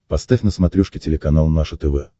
поставь на смотрешке телеканал наше тв